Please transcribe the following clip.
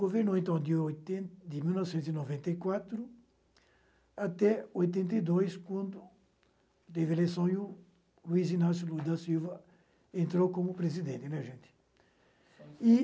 Governou então de oiten mil novecentos e noventa e quatro até oitenta e dois, quando teve eleição e o Luiz Inácio lula da Silva entrou como presidente. E